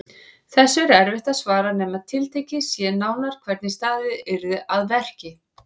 Þessu er erfitt að svara nema tiltekið sé nánar hvernig staðið yrði að verki.